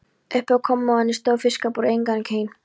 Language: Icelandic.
Uppi á kommóðunni stóð fiskabúrið, einkaeign